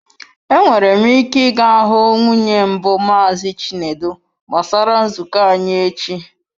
Enwere m ike ị ga hụ nwunye mbụ Maazị Chinedu gbasara nzukọ anyị echi.